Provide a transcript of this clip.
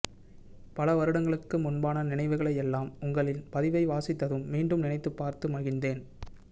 பல வருடங்களுக்கு முன்பான நினைவுகளையெல்லாம் உங்களின் பதிவை வாசித்ததும் மீண்டும் நினைத்துப்பார்த்து மகிழ்ந்தேன்